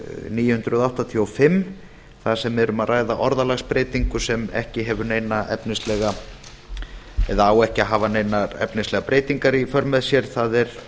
níu hundruð áttatíu og fimm þar sem um er að ræða orðalagsbreytingu sem ekki hefur neina efnislega eða á ekki hafa neinar efnislegar breytingar í för með sér þar er